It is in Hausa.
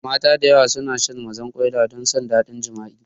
Mata da yawa suna shan mazarƙwaila don san ɗadin jima'i